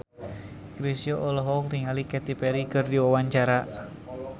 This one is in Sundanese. Chrisye olohok ningali Katy Perry keur diwawancara